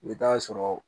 I bɛ taa sɔrɔ